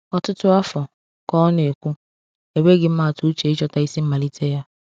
"Ọtụtụ afọ," ka ọ na-ekwu, "enweghị m atụ uche ịchọta isi mmalite ya."